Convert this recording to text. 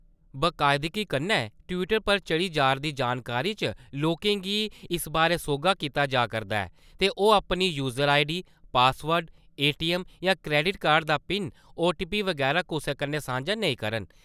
बकायदगी कन्नै ट्‌वीटर पर चाढ़ी जा`रदी जानकारी च लोकें गी इस बारै सोह्गा कीता जा'रदा ऐ जे ओह् अपनी user I D, password, ATM या क्रेडिट कार्ड दा पिन, ओटीपी बगैरा कुसै कन्ने सांझे नेई करन।